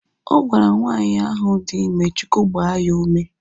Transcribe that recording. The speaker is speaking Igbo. Ọ gwara nwaanyị ahu dị ime Chukwu gbaa ya ume